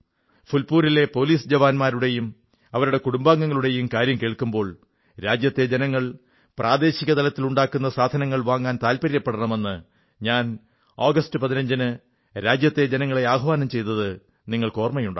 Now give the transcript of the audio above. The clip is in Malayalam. ഫുൽപൂരിലെ പോലിസ് ജവാന്മാരുടെയും അവരുടെ കുടുംബാംഗങ്ങളുടെയും കാര്യം കേൾക്കുമ്പോൾ രാജ്യത്തെ ജനങ്ങൾ പ്രാദേശിക തലത്തിൽ ഉണ്ടാക്കുന്ന സാധനങ്ങൾ വാങ്ങാൻ താത്പര്യപ്പെടണമെന്ന് ഞാൻ ആഗസ്റ്റ് 15 ന് രാജ്യത്തെ ജനങ്ങളെ ആഹ്വാനം ചെയ്തത് ഓർമ്മയുണ്ടാകും